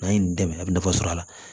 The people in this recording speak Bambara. N'an ye nin dɛmɛ a bɛ nafa sɔrɔ a la